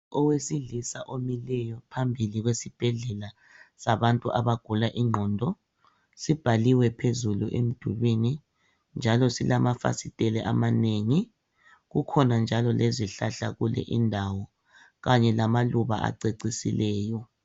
Owesilisa omileyo phambili kwesibhedlela sabantu abagula ingqondo. Sibhaliwe phezulu emdulwini njalo silamafasitele amanengi. Kukhona njalo lezihlahla kule indawo, kanye lamaluba acecisileyo.